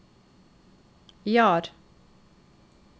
Jar